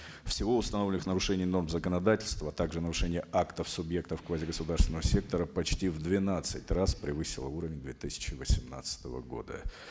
всего установленных нарушений норм законодательства также нарушения актов субъектов квазигосударственного сектора почти в двенадцать раз превысило уровень две тысячи восемнадцатого года